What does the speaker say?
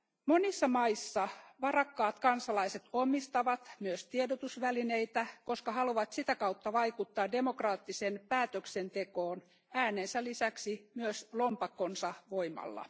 Monissa maissa varakkaat kansalaiset omistavat myös tiedotusvälineitä, koska haluavat sitä kautta vaikuttaa demokraattiseen päätöksentekoon äänensä lisäksi myös lompakkonsa voimalla.